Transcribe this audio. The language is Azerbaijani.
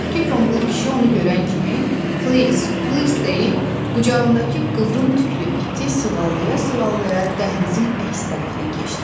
Bayaqkı qomul kişi onu görən kimi please, please deyib qucağındakı qıvrım tüklü iti sığallaya-sığallaya dəhlizin əks tərəfinə keçdi.